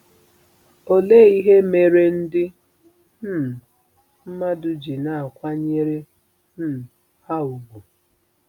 Olee ihe mere ndị um mmadụ ji na-akwanyere um ha ùgwù?